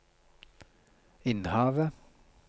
Innhavet